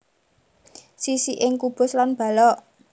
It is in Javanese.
Sisi ing kubus lan balok